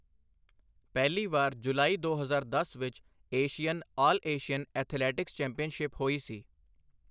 ਪਹਿਲੀ ਵਾਰ ਜੁਲਾਈ ਦੋ ਹਜ਼ਾਰ ਦਸ ਵਿੱਚ Asian all Asian athletics championship ਹੋਈ ਸੀ।